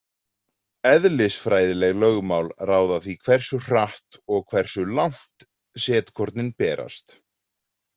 Eðlisfræðileg lögmál ráða því hversu hratt og hversu langt setkornin berast.